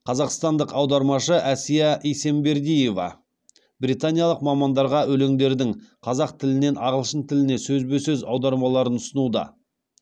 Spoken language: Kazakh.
қазақстандық аудармашы әсия исембердиева британиялық мамандарға өлеңдердің қазақ тілінен ағылшын тіліне сөзбе сөз аудармаларын ұсынуда